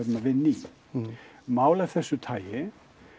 vinna í mál af þessu tagi